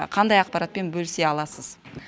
қандай ақпаратпен бөлісе аласыз